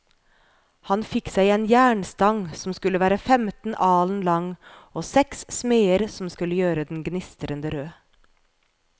Han fikk seg en jernstang som skulle være femten alen lang, og seks smeder som skulle gjøre den gnistrende rød.